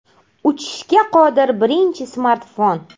Uchishga qodir birinchi smartfon.